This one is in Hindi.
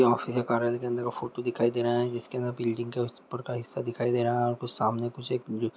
ये ऑफिस या कार्यालय के अंदर का फोटू दिखाई दे रहा है जिसके अंदर बिल्डिंग के ऊपर का हिस्सा दिखाई दे रहा है कुछ सामने कुछ एक--